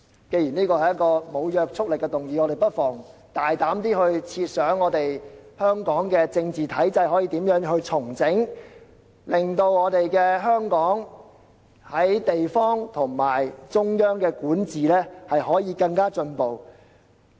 既然這是一項無約束力的議案，我們不妨大膽設想香港的政治體制可以如何重整，令香港在地方和中央管治上更進步。